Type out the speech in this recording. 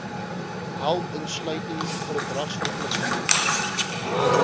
help insluitend verdragsverpligtinge